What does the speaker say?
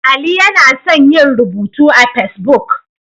Ali yana son yin rubutu a Fesbuk.